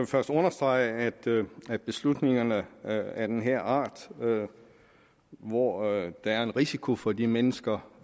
først understrege at beslutninger af den her art hvor der er en risiko for de mennesker